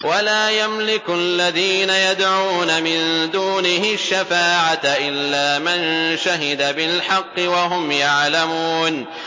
وَلَا يَمْلِكُ الَّذِينَ يَدْعُونَ مِن دُونِهِ الشَّفَاعَةَ إِلَّا مَن شَهِدَ بِالْحَقِّ وَهُمْ يَعْلَمُونَ